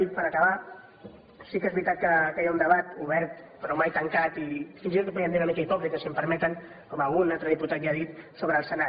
i per acabar sí que és veritat que hi ha un debat obert però mai tancat i fins i tot podríem dir una mica hipòcrita si m’ho permeten com algun altre diputat ja ha dit sobre el senat